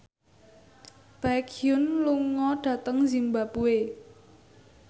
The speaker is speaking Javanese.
Baekhyun lunga dhateng zimbabwe